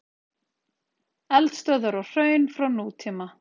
Eldstöðvar og hraun frá nútíma.